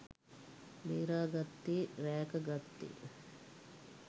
බේරා ගත්තේ රැක ගත්තේ.